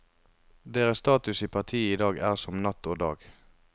Deres status i partiet i dag er som natt og dag.